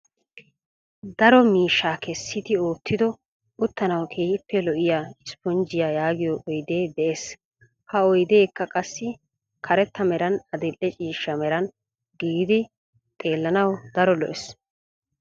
Daro miishshaa kessidi oottido uttanawu keehippe lo"iyaa isponjiyaa yaagiyoo oydee de'ees. Ha oydeekka qassi karetta meran adil"e ciishsha meran giigidi xeellanawu daro lo"ees.